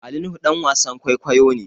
Ali nuhu ɗan wasan kwaikwayo ne